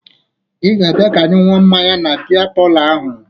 Ị ga-abịa ka anyị ṅụọ mmanya na bịa palọ ahụ